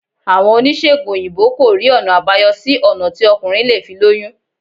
Àwọn oníṣègùn òyìnbó kò rí ọ̀nà àbáyọ sí ọ̀nà tí ọkùnrin lè fi lóyún